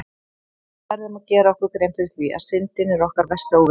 Við verðum að gera okkur grein fyrir því að Syndin er okkar versti óvinur!